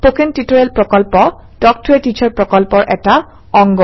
spoken tutorial প্ৰকল্প talk to a teacher প্ৰকল্পৰ এটা অংগ